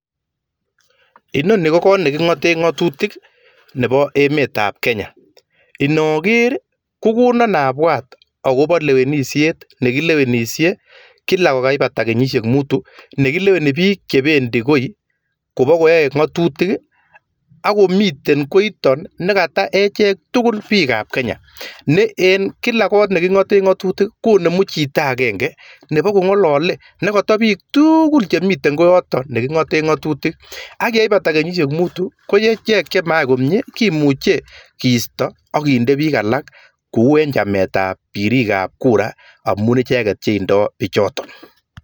Ino ni kot neking'ate ng'atutik Nebo emet ab Kenya nechobei ng'atutik ako kikikwei icheket nekata bik tukul chebo emet kotelelji icheket ako ye mayai boishet komyee kekwei alak kokabek kenyishek mutu